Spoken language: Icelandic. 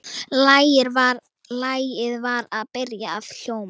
Lagið var byrjað að hljóma.